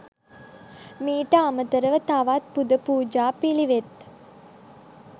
මීට අමතරව තවත් පුද පූජා පිළිවෙත්